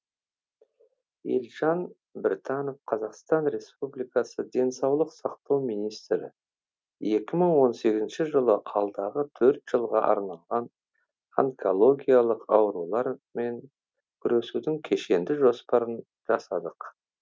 елжан біртанов қазақстан республикасы денсаулық сақтау министрі екі мың он сегізінші жылы алдағы төрт жылға арналған онкологиялық аурулармен күресудің кешенді жоспарын жасадық